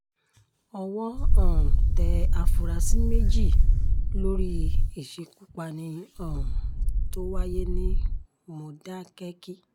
owó um tẹ àfúrásì méjì lórí ìṣekúpani um tó wáyé ní mòdákẹ́kí